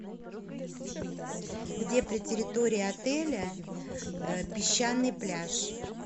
где при территории отеля песчаный пляж